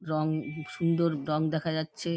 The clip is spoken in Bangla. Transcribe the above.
রং-ং উ সুন্দর রং দেখা যাচ্ছে ।